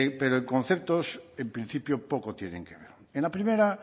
pero en conceptos en principio poco tienen que ver en la primera